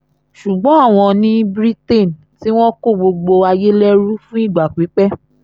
ṣùgbọ́n àwọn ni britian tí wọ́n kó gbogbo ayé lẹ́rú fún ìgbà pípẹ́